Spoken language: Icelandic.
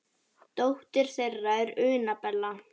Dóttir þeirra er Una Bella.